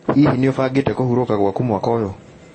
Hihi, nĩ ũbangĩte kũhurũka gwaku mwaka ũyũ?